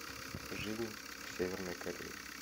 жизнь в северной корее